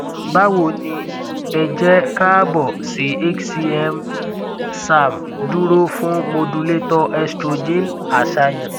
bawo ni e je kaabo si hcm serm duro fun modulator estrogen aṣayan